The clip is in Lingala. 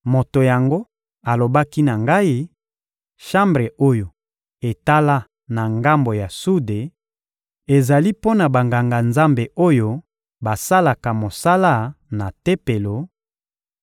Moto yango alobaki na ngai: «Shambre oyo etala na ngambo ya sude ezali mpo na Banganga-Nzambe oyo basalaka mosala na Tempelo;